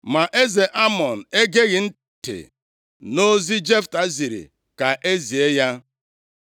Ma eze Amọn egeghị ntị nʼozi Jefta ziri ka e zie ya.